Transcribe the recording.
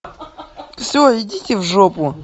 все идите в жопу